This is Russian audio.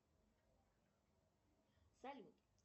салют